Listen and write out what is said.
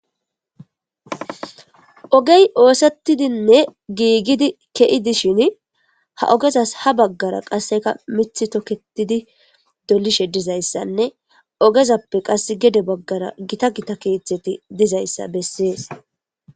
ogey oosettidinne giigidi ke7idishin ha ogezas ha baggara qasseka mithi toketidi dolishe dizayssanne ogezappe qas gede baggara gita gita keeththeti dizayssa bessees